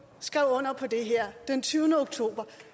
skrev under på det her den tyvende oktober